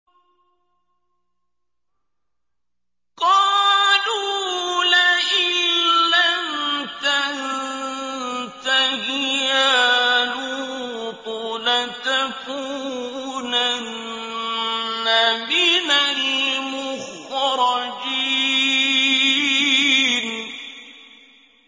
قَالُوا لَئِن لَّمْ تَنتَهِ يَا لُوطُ لَتَكُونَنَّ مِنَ الْمُخْرَجِينَ